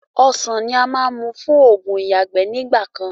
Ọ̀sán ni a máa n mú fún ogún ìyágbẹ́ ni ìgbàkan.